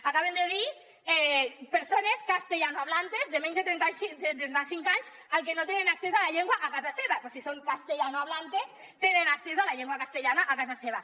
acaben de dir persones castellanohablantes de menys de trenta cinc anys que no tenen accés a la llengua a casa seva però si són castellanohablantes tenen accés a la llengua castellana a casa seva